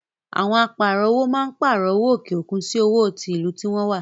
Àwọn Áà pààrọ̀ owó máa ń pààrọ̀ owó òkè òkun sì owó tí ìlú tí wọn wá.